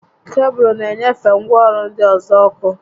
Kebụlụ na enyefe ngwaọrụ ndị ọzọ ọkụ